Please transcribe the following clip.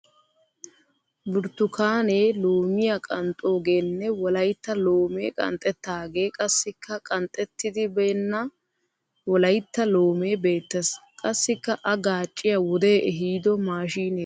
Burttukaane loomiya qanxxogeenne wolayitta loomee qanxxettaagee qassikka qanxxetti beenna wolayitta loomee beettes. Qassikka a gaacciya wodee ehido maashiinee kka beettes.